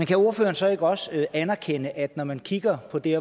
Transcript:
kan ordføreren så ikke også anerkende at når man kigger på de